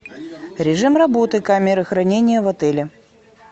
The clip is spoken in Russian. режим работы камеры хранения в отеле